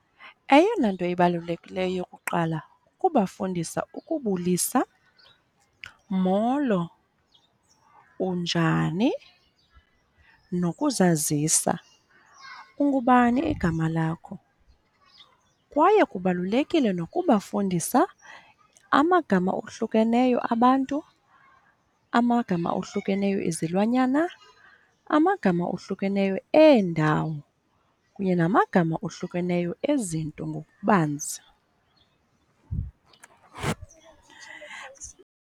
Eyona nto ibalulekileyo kuqala kukubafundisa ukubulisa. Molo. Unjani? Nokuzazisa. Ungubani igama lakho? Kwaye kubalulekile nokubafundisa amagama ohlukeneyo abantu, amagama ohlukeneyo ezilwanyana, amagama ohlukeneyo eendawo, kunye namagama ohlukeneyo ezinto ngokubanzi.